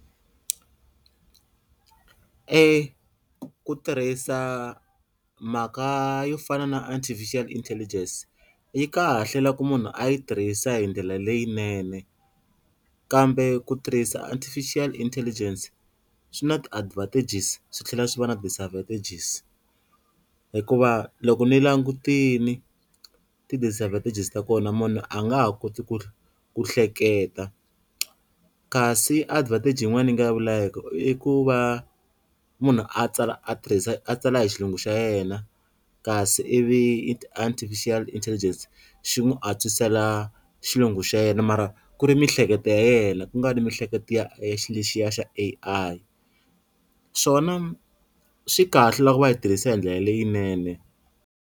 E ku tirhisa mhaka yo fana na artificial intelligence yi kahle loko munhu a yi tirhisa hi ndlela leyinene kambe ku tirhisa artificial intelligence swi na ti-advantages swi tlhela swi va na disadvantages hikuva loko ni langutini ti-disadvantages ta kona munhu a nga ha koti ku ku hleketa, kasi advantage yin'wana yi nga i ku va munhu a tsala a tirhisa a tsala hi xilungu xa yena kasi ivi ti-artificial intelligence xi n'wi antswisela xilungu xa yena mara ku ri miehleketo ya yena ku nga ri mihleketo ya xilo lexiya xa A_I, swona swi kahle loko va yi tirhisa hi ndlela leyinene.